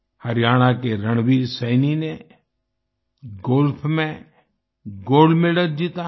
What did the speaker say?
हरियाणा के रणवीर सैनी ने गोल्फ में गोल्ड मेडल जीता है